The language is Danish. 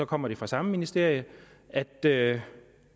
kommer det fra samme ministerium at det